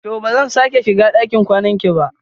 To! ba zan sake shiga ɗakin kwanan ki ba.